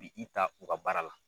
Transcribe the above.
U B'i i ta u ka baara la.